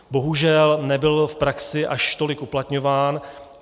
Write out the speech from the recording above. Bohužel nebyl v praxi až tolik uplatňován.